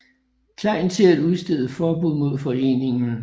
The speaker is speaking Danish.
Klein til at udstede forbud mod foreningen